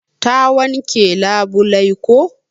Ta wanke labulai ko.